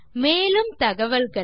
மேலும் தகவல்களுக்கு